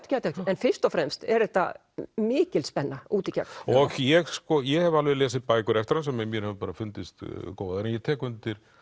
en fyrst og fremst er þetta mikil spenna út í gegn ég ég hef lesið bækur eftir hann sem mér hefur fundist góðar en ég tek undir